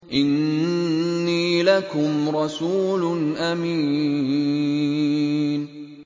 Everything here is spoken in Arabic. إِنِّي لَكُمْ رَسُولٌ أَمِينٌ